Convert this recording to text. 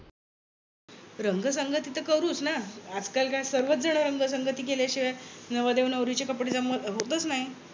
रंग संगती तर करूच ना. आज काल काय सर्वच जण रंग संगती केल्याशिवाय नवरदेव नवरीचे कपडे जमवत होतच नाही.